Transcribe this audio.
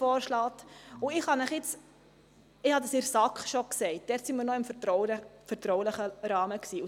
Ich habe es bereits in der SAK gesagt, als wir uns noch im vertraulichen Rahmen befanden.